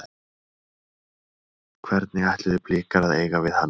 Hvernig ætluðu Blikar að eiga við hana?